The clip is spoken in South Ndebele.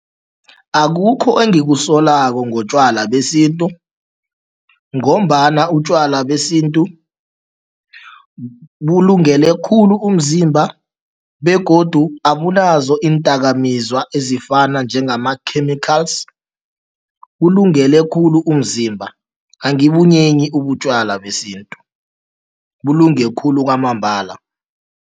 Akukho engikusolako ngotjwala besintu ngombana utjwala besintu bulungele khulu umzimba begodu abunazo iindakamizwa ezifana njengama-chemicals, kulungele khulu umzimba. Angibunyenyi ubutjwala besintu, bulunge khulu kwamambala.